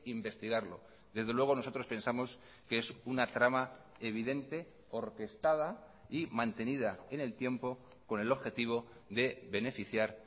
investigarlo desde luego nosotros pensamos que es una trama evidente orquestada y mantenida en el tiempo con el objetivo de beneficiar